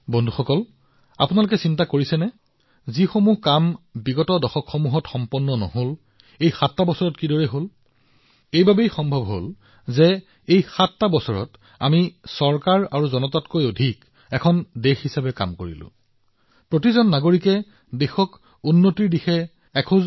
বন্ধুসকল আপোনালোকে ভাবিছেনে এই ৭ বছৰত এই সকলোবোৰ কাম কেনেদৰে কৰা হৈছে যিবোৰ দশকতো কৰিব পৰা নহৈছিল এই সকলোবোৰ সম্ভৱ হৈছিল কিয়নো এই ৭ বছৰত আমি চৰকাৰ আৰু জনতাতকৈ অধিক এখন দেশ হিচাপে কাম কৰিছিলো এটা দল হিচাপে কাম কৰিছিলো টীম ইণ্ডিয়া হিচাপে কাম কৰিছিলো